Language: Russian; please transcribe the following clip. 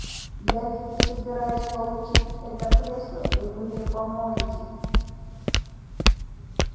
я ведь собираюсь получить это кресло и вы мне поможете